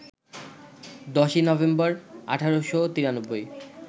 ১০ই নভেম্বর, ১৮৯৩